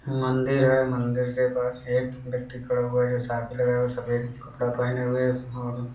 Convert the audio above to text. मदिर है। मंदिर के पास एक ब्यक्ति खड़ा हुआ है जो साफ़ी लगाए हुए सफेद कपड़ा पहन हुए है ओर --